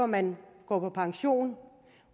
man går på pension